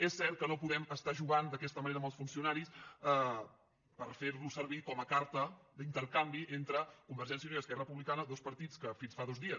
és cert que no podem estar jugant d’aquesta manera amb els funcionaris per fer los servir com a carta d’intercanvi entre convergència i unió i esquerra republicana dos partits que fins fa dos dies